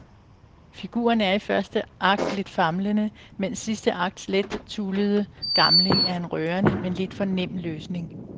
Figuren er i første akt lidt famlende, mens sidste akts let tullede gamling er en rørende men lidt for nem løsning.